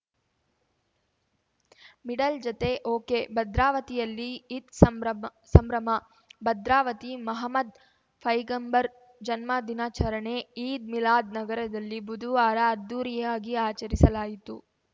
ಮಿಡಲ್‌ಜತೆ ಒಕೆಭದ್ರಾವತಿಯಲ್ಲಿ ಈದ್‌ ಸಂಬ್ರಮ್ ಸಂಭ್ರಮ ಭದ್ರಾವತಿ ಮಹಮ್ಮದ್‌ ಪೈಗಂಬರ್‌ ಜನ್ಮದಿನಾಚರಣೆ ಈದ್‌ ಮಿಲಾದ್‌ ನಗರದಲ್ಲಿ ಬುದುವಾರ ಅದ್ದೂರಿಯಾಗಿ ಆಚರಿಸಲಾಯಿತು